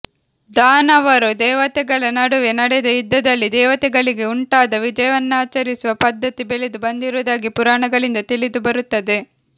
ದಾನವರು ದೇವತೆಗಳ ನಡುವೆ ನಡೆದ ಯುದ್ದದಲ್ಲಿ ದೇವತೆಗಳಿಗೆ ಉಂಟಾದ ವಿಜಯವನ್ನಾಚರಿಸುವ ಪದ್ಧತಿ ಬೆಳೆದು ಬಂದುದಾಗಿ ಪುರಾಣಗಳಿಂದ ತಿಳಿದುಬರುತ್ತದೆ